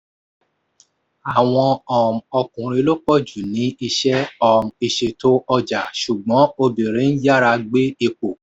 àwọn um ọkùnrin lo pọ̀ jù ní iṣẹ́ um ìṣètò ọjà ṣùgbọ́n obìnrin ń yára gbé ipò.